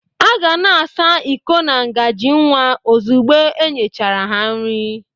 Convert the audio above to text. A ga na-asa iko na ngazi nwa ozigbo e nyechara ha nri